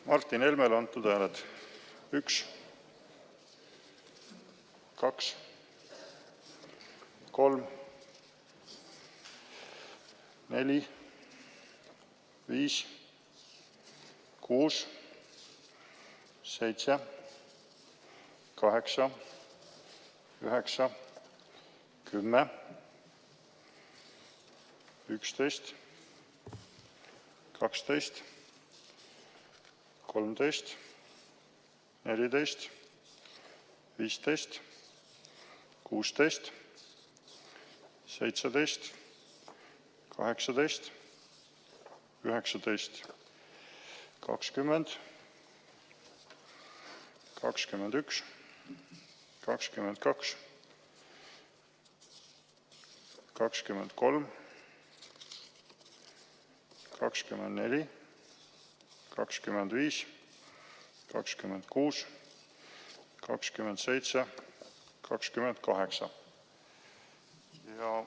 Martin Helmele antud hääled: 1, 2, 3, 4, 5, 6, 7, 8, 9, 10, 11, 12, 13, 14, 15, 16, 17, 18, 19, 20, 21, 22, 23, 24, 25, 26, 27, 28.